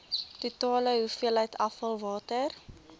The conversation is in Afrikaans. totale hoeveelheid afvalwater